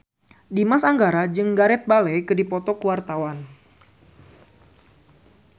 Dimas Anggara jeung Gareth Bale keur dipoto ku wartawan